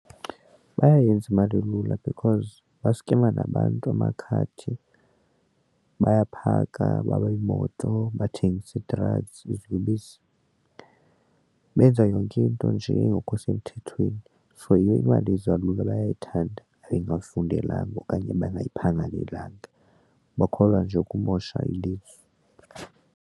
Bayayenza imali lula because baskema nabantu amakhadi, bayaphaka baba imoto, bathengise ii-drugs iziyobisi benza yonke into nje engekho semthethweni. So yiyo imali eza kalula bayayithanda ebengafundelanga okanye bangayiphangalelanga bakholwa nje ukumosha ilizwe.